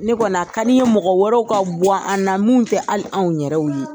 Ne kɔni a ka di n ye mɔgɔ wɛrɛw ka bu an na mun tɛ hali anw yɛrɛw ye.